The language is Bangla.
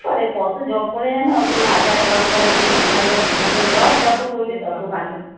করে কত যপ করে অত হাজার যপ করে কেউ দুহাজার তিনহাজার যপ যত করবে তত ভালো।